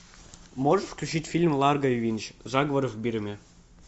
можешь включить фильм ларго и винч заговор в бирме